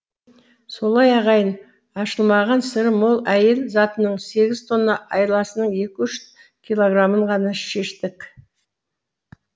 солай ағайын ашылмаған сыры мол әйел затының сегіз тонна айласының екі үш килограмын ғана шештік